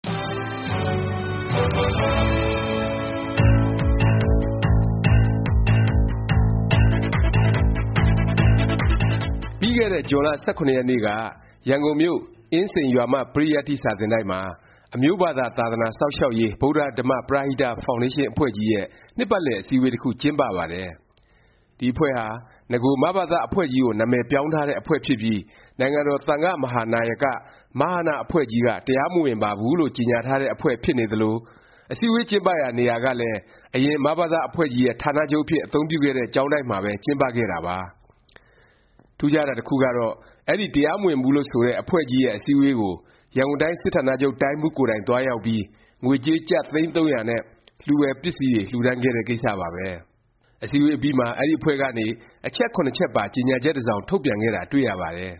ပြီးခဲ့တဲ့ ဇွန်လ ၁၇ ရက်နေ့က ရန်ကုန်မြို့ အင်းစိန် ရွာမ ပရိယတ္တိ စာသင်တိုက်မှာ အမျိုးဘာသာ သာသနာစောင့်ရှောက်ရေး ဗုဒ္ဓ ဓမ္မ ပရဟိတ ဖောင်ဒေးရှင်းအဖွဲ့ကြီး ရဲ့ နှစ်ပတ်လည် အစည်းအဝေး တစ်ခု ကျင်းပပါတယ်။ ဒီ အဖွဲ့ဟာ နဂို မဘသ အဖွဲ့ကြီးကို နာမည်ပြောင်းထားတဲ့ အဖွဲ့ဖြစ်ပြီး နိုင်ငံတော် သံဃာ့မဟာနာယက အဖွဲ့ကြီးက တရားမဝင်ပါဘူးလို့ ကြေငြာထားတဲ့ အဖွဲ့ ဖြစ်နေသလို၊ အစည်းအဝေး ကျင်းပရာ နေရာကလည်း အရင် မဘသအဖွဲ့ကြီး ရဲ့ ဌာနချုပ်အဖြစ် အသုံးပြုခဲ့တဲ့ ကျောင်းတိုက်မှာပဲ ကျင်းပခဲ့တာပါ။ ထူးခြားတာ တစ်ခုကတော့ အဲဒီ တရားမဝင်ဘူးလို့ ဆိုတဲ့ အဖွဲ့ကြီးရဲ့ အစည်းအဝေးကို ရန်ကုန်တိုင်း စစ်ဌာနချုပ် တိုင်းမှူး ကိုယ်တိုင် သွားရောက်ပြီး ငွေကြေး ကျပ် သိန်း ၃၀၀ နဲ့ လှူဖွယ်ပစ္စည်းတွေ လှူဒါန်းခဲ့တဲ့ ကိစ္စပါပဲ။ အစည်းအဝေးအပြီးမှာ အဲဒီ အဖွဲ့ကနေ အချက် ချက်ပါ ကြေငြာချက် တစ်စောင် ထုတ်ပြန်ခဲ့တာ တွေ့ရပါတယ်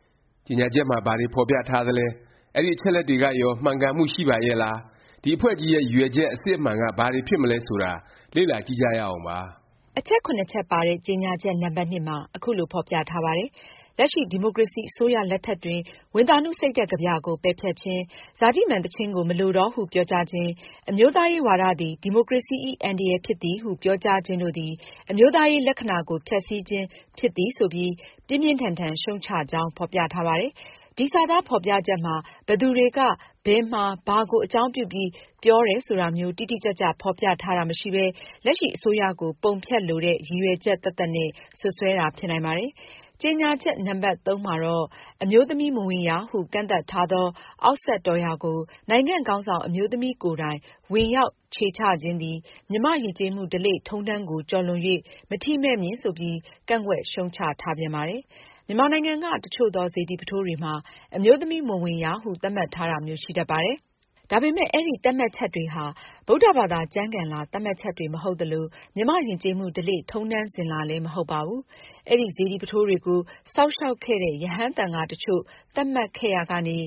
။ ကြေငြာချက်မှာ ဘာတွေ ဖော်ပြထားသလဲ၊ အဲဒီအချက်အလက်တွေကရော မှန်ကန်မှု ရှိပါရဲ့လား၊ ဒီ အဖွဲ့ကြီးရဲ့ ရည်ရွယ်ချက် အစစ်အမှန်က ဘာတွေဖြစ်မလဲ ဆိုတာ လေ့လာကြည့်ကြရအောင်ပါ။ အချက် ချက်ပါတဲ့ ကြေငြာချက် နံပတ် မှာ ခုလို ဖော်ပြထားပါတယ်။ “ လက်ရှိ ဒီမိုကရေစီ အစိုးရလက်ထက်တွင် ဝံသာနုစိတ်ဓာတ်ကဗျာကို ပယ်ဖျက်ခြင်း၊ ဇာတိမာန်သီချင်းကို မလိုတော့ဟု ပြောကြားခြင်း၊ အမျိုးသားရေးဝါဒသည် ဒီမိုကရေစီ၏ အန္တရာယ်ဖြစ်သည်ဟု ပြောကြားခြင်းတို့သည် အမျိုးသားရေး လက္ခဏာကိုဖျက်စီးခြင်းဖြစ်သည်။” ဆိုပြီး ပြင်းပြင်းထန်ထန် ရှုတ်ချကြောင်း ဖော်ပြထားပါတယ်။ ဒီစာသား ဖော်ပြချက်မှာ ဘယ်သူတွေက၊ ဘယ်မှာ၊ ဘာကို အကြောင်းပြုပြီး ပြောတယ် ဆိုတာမျိုး တိတိကျကျ ဖော်ပြထားတာ မရှိပဲ လက်ရှိ အစိုးရကို ပုံဖျက်လိုတဲ့ ရည်ရွယ်ချက် သက်သက်နဲ့ စွပ်စွဲတာ ဖြစ်နိုင်ပါတယ်။ ကြေငြာချက် နံပတ် မှာတော့ “ အမျိုးသမီးမဝင်ရဟု ကန့်သတ်ထားသော အောက်စက်တော်ရာကို နိုင်ငံခေါင်းဆောင် အမျိုးသမီးကိုယ်တိုင် ဝင်ရောက်ခြေချခြင်းသည် မြန်မာ့ယဉ်ကျေးမှု ဓလေ့ထုံးတမ်းကို ကျော်လွန် ၍ မထီမဲ့မြင်” ဆိုပြီး ကန့်ကွက် ရှုတ်ချထားပြန်ပါတယ်။ မြန်မာနိုင်ငံက တစ်ချို့သော စေတီ ပုထိုးတွေမှာ အမျိုးသမီး မဝင်ရ သတ်မှတ်ထားတာမျိုး ရှိတတ်ပါတယ်။ ဒါပေမယ့် အဲဒီ သတ်မှတ်ချက်တွေဟာ ဗုဒ္ဓဘာသာ ကျမ်းဂန်လာ သတ်မှတ်ချက်တွေ မဟုတ်သလို၊ မြန်မာ့ယဉ်ကျေးမှု ဓလေ့ ထုံးတမ်းစဉ်လာလည်း မဟုတ်ပါဘူး။ အဲဒီ စေတီပုထိုးတွေကို စောင့်ရှောက်ခဲ့တဲ့ ရဟန်းသံဃာ တစ်ချို့ သတ်မှတ်ခဲ့ရာကနေ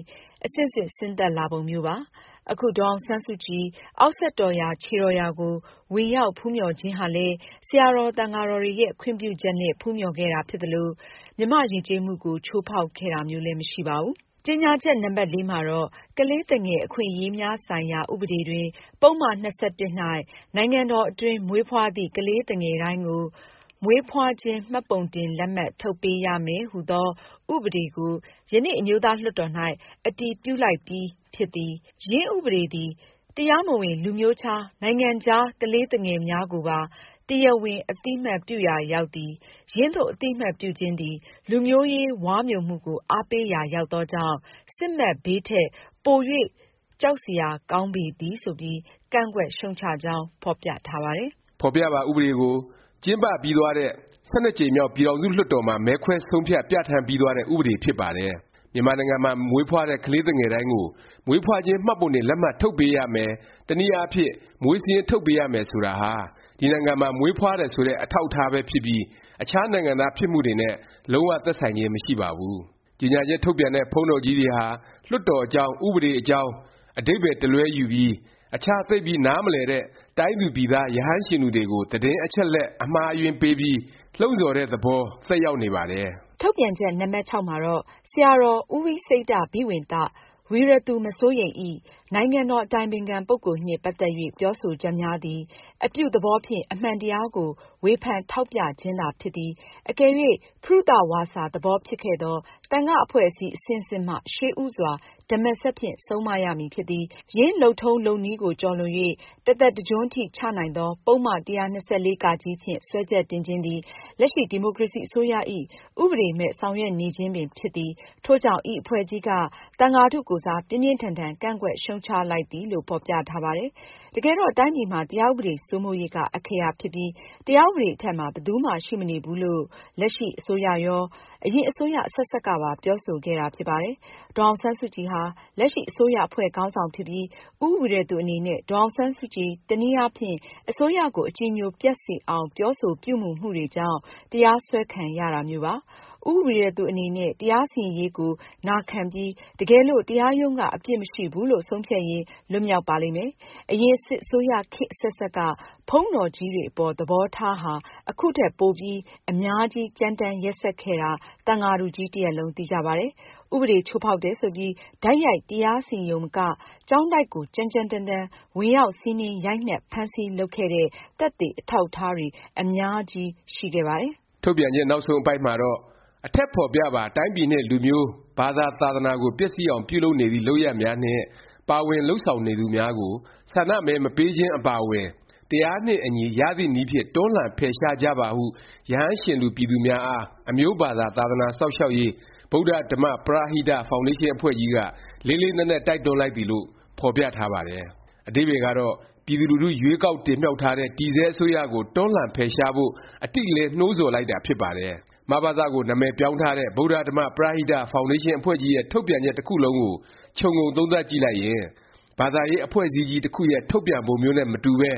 အဆင့်ဆင့် ဆင်းသက်လာပုံမျိုးပါ။ အခု ဒေါ်အောင်ဆန်းစုကြည် အောက်စက်တော်ရာ ခြေတော်ရာကို ဝင်ရောက် ဖူးမျှော်ခြင်းဟာလည်း ဆရာတော် သံဃာတော်တွေရဲ့ ခွင့်ပြုချက်နဲ့ ဖူးမျှော်ခဲ့တာ ဖြစ်သလို ဘယ်လို မြန်မာ့ယဉ်ကျေးမှုကိုမှ ချိုးဖေါက်ခဲ့တာမျိုး မရှိပါဘူး။ ကြေငြာချက် နံပတ် မှာတော့“ကလေးသူငယ် အခွင့်အရေးများဆိုင်ရာ ဥပဒေတွင် ပုဒ်မ ၂၁ ၌ နိုင်ငံတော်အတွင်း မွေးဖွားသည့် ကလေးသူငယ်တိုင်းကို မွေးဖွားခြင်း မှတ်ပုံတင်လက်မှတ် ထုတ်ပေးရမယ်ဟူသော ဥပဒေကို ယနေ့ အမျိုးသားလွှတ်တော်၌ အတည်ပြုလိုက်ပြီး ဖြစ်သည်။ ယင်းဥပဒေသည် တရားမဝင် လူမျိုးခြားနိုင်ငံခြား ကလေးသူငယ်များကိုပါ တရားဝင် အသိအမှတ်ပြုရရာ ရောက်သည်။ယင်းသို့ အသိအမှတ်ပြုခြင်းသည် လူမျိုးရေး ဝါးမျိုမှုကို အားပေးရာရောက်သောကြောင့် စစ်မက်ဘေးထက် ပို၍ ကြောက်စရာ ကောင်းပေသည်။” ဆိုပြီး ကန့်ကွက် ရှုတ်ချကြောင်း ဖော်ပြထားပါတယ်။ ဖော်ပြပါ ဥပဒေကို ကျင်းပပြီးသွားတဲ့ ၁၂ ကြိမ်မြောက် ပြည်ထောင်စု လွှတ်တော်မှာ မဲခွဲ ဆုံးဖြတ် ပြဌာန်းပြီးသွားတဲ့ ဥပဒေ ဖြစ်ပါတယ်။ မြန်မာနိုင်ငံမှာ မွေးဖွားတဲ့ ကလေးသူငယ်တိုင်းကို မွေးဖွားခြင်း မှတ်ပုံတင် လက်မှတ် ထုတ်ပေးရမယ် တစ်နည်းအားဖြင့် မွေးစာရင်း ထုတ်ပေးရမယ် ဆိုတာဟာ ဒီနိုင်ငံမှာ မွေးဖွားတယ် ဆိုတဲ့ အထောက်အထားပဲ ဖြစ်ပြီး အခြား နိုင်ငံသားဖြစ်မှု တွေနဲ့ လုံး၀ သက်ဆိုင်ခြင်း မရှိပါဘူး။ ကြေငြာချက် ထုတ်ပြန်တဲ့ ဘုန်းတော်ကြီးတွေဟာ လွှတ်တော်အကြောင်း၊ ဥပဒေ အကြောင်း အဓိပါယ်တလွဲယူပြီး အခြား သိပ်ပြီး နားမလည်တဲ့ တိုင်းသူပြည်သား ရဟန်းရှင်လူတွေကို သတင်းအချက်အလက် အမှားအယွင်းပေး ပြီး လှုံ့ဆောတဲ့သဘောသက်ရောက်နေပါတယ်။ ထုတ်ပြန်ချက် နံပတ် ၆မှာတော့ “ဆရာတော် ဦးဝိစိတ္တာဘိဝံသ ၏ နိုင်ငံတော် အတိုင်ပင်ခံပုဂ္ဂိုလ်နှင့် ပတ်သက်၍ ပြောဆိုချက်များသည် အပြုသဘောဖြင့် အမှန်တရားကို ဝေဖန်ထောက်ပြခြင်းသာဖြစ်သည်။ အကယ်၍ ဖရုသဝါစာ သဘောဖြစ်ခဲ့သော် သံဃာ့အဖွဲ့အစည်း အဆင့်ဆင့်မှ ရှေးဦးစွာ ဓမ္မစက်ဖြင့် ဆုံးမရမည် ဖြစ်သည် ။ ယင်းလုပ်ထုံးလုပ်နည်းကို ကျော်လွန်၍ တစ်သက်တစ်ကျွန်းထိ ချနိုင်သော ပုဒ်မ ၁၂၄ ဖြင့် စွဲချက်တင်ခြင်းသည် လက်ရှိ ဒီမိုကရေစီအစိုးရ၏ ဥပဒေမဲ့ ဆောင်ရွက်နေခြင်းပင် ဖြစ်သည်။ ထို့ကြောင့် ဤအဖွဲ့ကြီး က သံဃာထုကိုယ်စား ပြင်းပြင်းထန်ထန် ကန့်ကွက် ရှုတ်ချလိုက်သည်။” လို့ ဖော်ပြထားပါတယ်။ တကယ်တော့ တိုင်းပြည်မှာ တရားဥပဒေ စိုးမိုးရေးက အခရာ ဖြစ်ပြီး တရားဥပဒေ အထက်မှာ ဘယ်သူမှ ရှိမနေဘူးလို့ လက်ရှိ အစိုးရရော၊ အရင် အစိုးရ အဆက်ဆက်ကပါ ပြောဆို ခဲ့တာ ဖြစ်ပါတယ်။ ဒေါ်အောင်ဆန်းစုကြည်ဟာ လက်ရှိ အစိုးရအဖွဲ့ ခေါင်းဆောင်ဖြစ်ပြီး ဦးဝီရသူ အနေနဲ့ ဒေါ်အောင်ဆန်းစုကြည် တနည်းအားဖြင့် အစိုးရကို အကြည်ညိုပျက်စေအောင် ပြောဆို ပြုမူမှုတွေကြောင့် တရားစွဲ ခံရတာမျိုးပါ။ ဦးဝီရသူ အနေနဲ့ တရားစီရင်ရေးကို နာခံပြီး တကယ်လို့ တရားရုံးက အပြစ်မရှိဘူးလို့ ဆုံးဖြတ်ရင် လွတ်မြောက် ပါလိမ့်မယ်။ အရင် စစ်အစိုးရ ခေတ် အဆက်ဆက်က ဘုန်းတော်ကြီးတွေ အပေါ် သဘောထားဟာ ခုထက်ပို အများကြီး ကြမ်းတမ်း ရက်စက်ခဲ့တာ သံဃာထုကြီး တစ်ရပ်လုံး သိကြပါတယ်။ ဥပဒေ ချိုးဖေါက်တယ် ဆိုပြီး တိုက်ရိုက် တရားစီရင်ရုံမက ကျောင်းတိုက်ကို ကြမ်းကြမ်းတမ်းတမ်း ဝင်ရောက် စီးနင်း ရိုက်နှက် ဖမ်းဆီး လုပ်ခဲ့တဲ့ သက်သေ အထောက်အထား အများကြီး ကျန်ရစ်ခဲ့ပါတယ်။ ထုတ်ပြန်ချက် နောက်ဆုံး အပိုဒ်မှာတော့ “အထက်ဖော်ပြပါ တိုင်းပြည်နှင့် လူမျိုး ဘာသာသာသနာကို ပျက်စီးအောင် ပြုလုပ်နေသည့် လုပ်ရပ်များနှင့် ပါဝင်လုပ်ဆောင်နေသူများကို ဆန္ဒမဲမပေးခြင်း အပါအဝင် တရားနှင့်အညီ ရသည့်နည်းဖြင့် တွန်းလှန်ဖယ်ရှားကြပါဟု ရဟန်းရှင်လူပြည်သူများအား အမျိုးဘာသာ သာသနာစောင့်ရှောက်ရေး ဗုဒ္ဓဓမ္မ ပရဟိတ ဖောင်ဒေးရှင်းအဖွဲ့ကြီးက လေးလေးနက်နက် တိုက်တွန်းလိုက်သည်။” လို့ ဖော်ပြထားပါတယ်။ အဓိပ္ပါယ်ကတော့ ပြည်သူလူထု ရွေးကောက်တင်မြှောက်ထားတဲ့ တည်ဆဲ အစိုးရကို တွန်းလှန် ဖယ်ရှားဖို့ အတိအလင်း နှိုးဆော်လိုက်တာ ဖြစ်ပါတယ်။ မဘသ ကို နာမည်ပြောင်းထားတဲ့ ဗုဒ္ဓဓမ္မ ပရဟိတ ဖောင်ဒေးရှင်းအဖွဲ့ကြီးရဲ့ ထုတ်ပြန်ချက် တစ်ခုလုံးကို ခြုံငုံသုံးသပ်ကြည့်လိုက်ရင် ဘာသာရေး အဖွဲ့အစည်းကြီး တစ်ခုရဲ့ ထုတ်ပြန်ပုံမျိုးနဲ့ မတူပဲ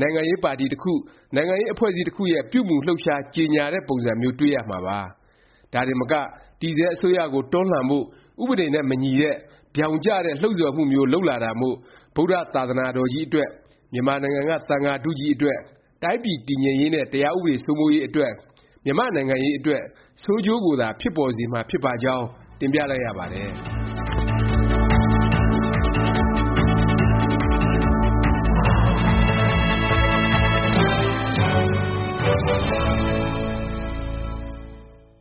နိုင်ငံရေးပါတီ တစ်ခု၊ နိုင်ငံရေး အဖွဲ့အစည်း တစ်ခုရဲ့ ပြုမူလှုပ်ရှား ကြေငြာတဲ့ပုံမျိုး တွေ့ရမှာပါ။ ဒါတင်မက တည်ဆဲ အစိုးရကို တွန်းလှန်ဖို့ ဥပဒေနဲ့ မညီတဲ့ ဗြောင်ကျတဲ့ လှုံ့ဆော်မှုမျိုး လုပ်လာတာမို့၊ ဗုဒ္ဓ သာသနာတော်ကြီး အတွက်၊ မြန်မာနိုင်ငံက သံဃာထုကြီးအတွက်၊ တိုင်းပြည် တည်ငြိမ်ရေးနဲ့ တရားဥပဒေ စိုးမိုးရေး အတွက်၊ မြန်မာ့ နိုင်ငံရေးအတွက် ဆိုးကျိုးကိုသာ ဖြစ်ပေါ်စေနိုင်မှာ ဖြစ်ပါကြောင်း တင်ပြလိုက်ရပါတယ်။